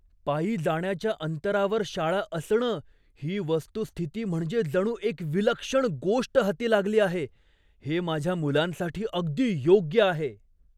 "पायी जाण्याच्या अंतरावर शाळा असणं ही वस्तुस्थिती म्हणजे जणू एक विलक्षण गोष्ट हाती लागली आहे. हे माझ्या मुलांसाठी अगदी योग्य आहे".